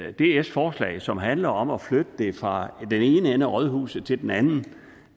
af dfs forslag som handler om at flytte det fra den ene ende af rådhuset til den anden